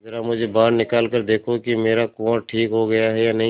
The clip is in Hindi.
जरा मुझे बाहर निकाल कर देखो कि मेरा कुंवर ठीक हो गया है या नहीं